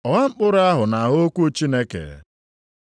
Ọgha mkpụrụ ahụ na-agha okwu Chineke.